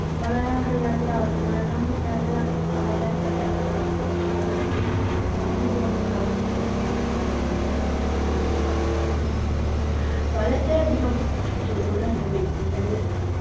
വളരാൻ കഴിയാത്തൊരവസ്ഥ വെള്ളം കിട്ടാത്ത വളരാൻ കഴിയാത്തൊരവസ്ഥ ചെടികളൊക്കെ ഉണങ്ങി പോകുന്നൊരവസ്ഥ വേനൽക്കാലം മൂലം ഉണ്ടാകാറുണ്ട് വളരെ അധികം ചൂട് അനുഭവിക്കുന്നൊരു